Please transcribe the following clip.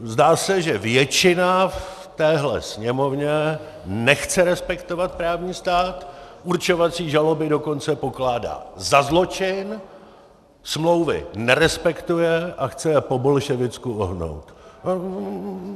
Zdá se, že většina v téhle Sněmovně nechce respektovat právní stát, určovací žaloby dokonce pokládá za zločin, smlouvy nerespektuje a chce je po bolševicku ohnout.